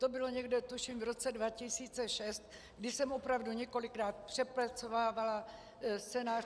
To bylo někdy tuším v roce 2006, kdy jsem opravdu několikrát přepracovávala scénář.